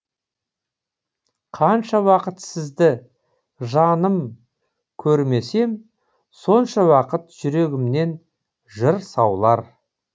қанша уақыт сізді жаным көрмесем сонша уақыт жүрегімнен жыр саулар